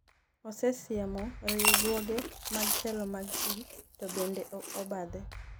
osesiemo riwruoge mag telo mag ji to bende ok obadhe